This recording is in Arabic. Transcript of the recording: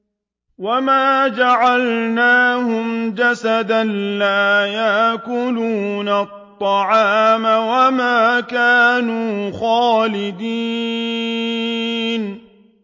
وَمَا جَعَلْنَاهُمْ جَسَدًا لَّا يَأْكُلُونَ الطَّعَامَ وَمَا كَانُوا خَالِدِينَ